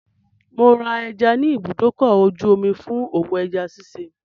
Mò ń ra ẹja ní ibùdókọ̀-ojú-omi fún òwò ẹja ṣiṣẹ́.